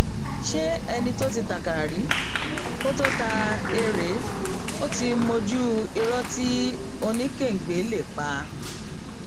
ṣé ẹni tó ti takára rí kó tóó ta erée ó ti mójú irọ tí oníkàngbé lè pa